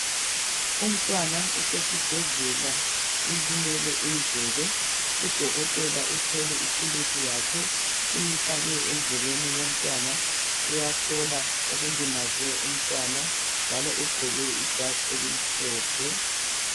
Umntwana usesibhedlela ulimele indlebe udokotela uthwele ithulusi yakhe uyifake endlebeni yomntwana uyahlola okulimaze umntwana njalo ugqoke ijazi elimhlophe